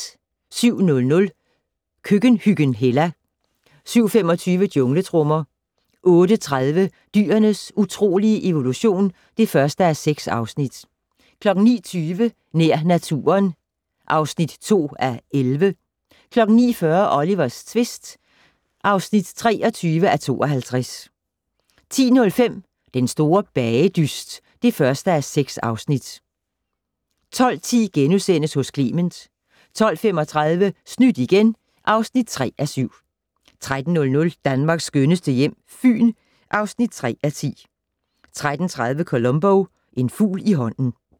07:00: Køkkenhyggen Hella 07:25: Jungletrommer 08:30: Dyrenes utrolige evolution (1:6) 09:20: Nær naturen (2:11) 09:40: Olivers tvist (23:52) 10:05: Den store bagedyst (1:6) 12:10: Hos Clement * 12:35: Snydt igen (3:7) 13:00: Danmarks skønneste hjem - Fyn (3:10) 13:30: Columbo: En fugl i hånden ...